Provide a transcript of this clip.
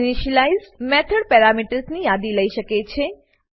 initialize method parameters ની યાદી લઇ શકે છે